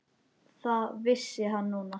Það vissi hann núna.